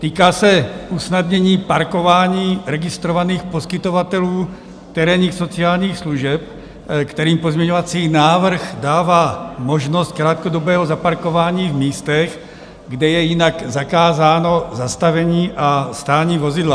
Týká se usnadnění parkování registrovaných poskytovatelů terénních sociálních služeb, kterým pozměňovací návrh dává možnost krátkodobého zaparkování v místech, kde je jinak zakázáno zastavení a stání vozidla.